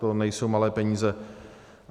To nejsou malé peníze.